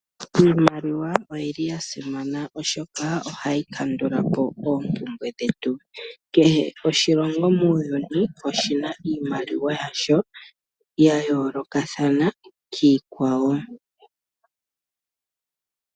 Iimaliwa oyili ya simana oshoka ohayi kandula po oopumbwe dhetu, kehe oshilongo muuyuni oshina iimaliwa yasho yayoolokathana kiikwawo.